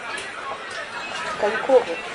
конькову